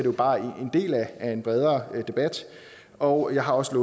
jo bare en del af en bredere debat og jeg har også